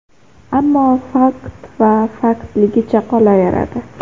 Ammo fakt va faktligicha qolaveradi.